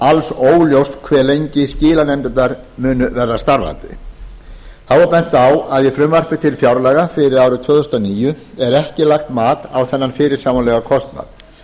alls óljóst hve lengi skilanefndirnar munu verða starfandi þá er bent á að í frumvarpi til fjárlaga fyrir árið tvö þúsund og níu er ekki lagt mat á þennan fyrirsjáanlega kostnað